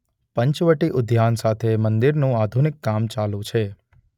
પંચવટી ઉઘાન સાથે મંદિરનું આઘુનિક કામ ચાલુ છે.